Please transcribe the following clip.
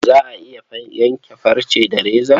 Za a iya yanke farce da reza?